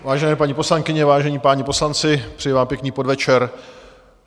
Vážené paní poslankyně, vážení páni poslanci, přeji vám pěkný podvečer.